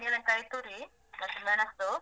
ತೆಂಗಿನಕಾಯಿ ತುರಿ, ಹಸಿ ಮೆಣಸು.